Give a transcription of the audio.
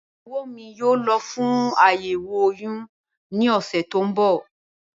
Ìyàwó mi yóò lọ fún àyẹ̀wò oyún ní ọ̀sẹ̀ tó ń bọ̀